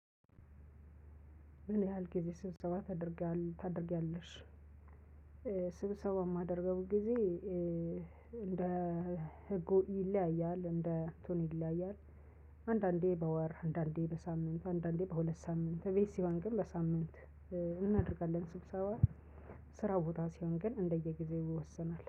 ምን ያህል ጊዜ ስብሰባ ታደርጊያለሽ? ስብሰባ የማደርገው ጊዜ እንደ ህጉ ይለያያል እንደ እትኑ ይለያያል። አንዳንዴ በወር አንዳንዴ በሳምንት አንዳንዴ ከሁለት ሳምንት እቤት ሲሆን ግን በሳምንት እናደርጋለን። ስብሰባ ስራ ቦታ ሲሆን ግን እንደየጊዜው ይወሰናል